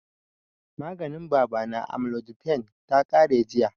Maganin baba na, amlodipine, ta ƙare jiya